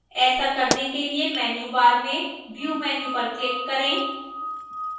ऐसा करने के लिए menu bar में view menu पर click करें